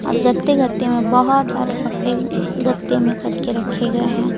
और गत्ते गत्ते में बहोत सारे कपड़े गत्ते में करके रखे गए हैं।